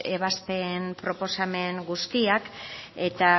ebazpen proposamen guztiak eta